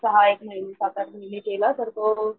सहा एक महिने साथ आठ महिने केला तर तो,